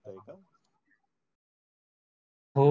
हो हो